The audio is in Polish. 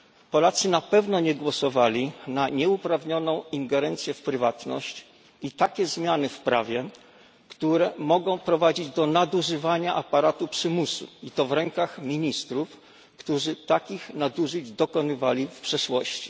Polacy na pewno nie głosowali na nieuprawnioną ingerencję w prywatność i takie zmiany w prawie, które mogą prowadzić do nadużywania aparatu przymusu i to w rękach ministrów, którzy takich nadużyć dokonywali w przeszłości.